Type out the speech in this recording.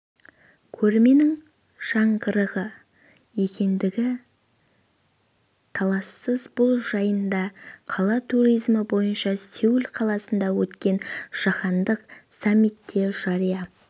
көрменің жаңғырығы екендігі талассыз бұл жайында қала туризмі бойынша сеул қаласында өткен жаһандық саммитте жария